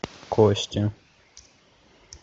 кости